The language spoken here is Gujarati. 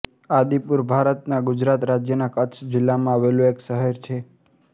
આદિપુર ભારતના ગુજરાત રાજ્યના કચ્છ જિલ્લામાં આવેલું એક શહેર છે